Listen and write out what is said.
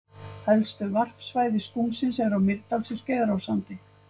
Helstu varpsvæði skúmsins eru á Mýrdals- og Skeiðarársandi.